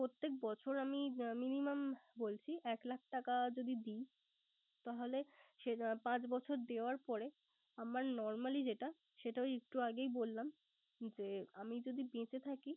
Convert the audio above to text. প্রত্যেক বছর আমি minimum বলছি একলাখ টাকা যদি দিই, তাহলে সে পাঁচ বছরে দেওয়ার পরে আমার normally যেটা সেটা একটু আগেই বললাম। যে আমি যদি বেঁচে থাকি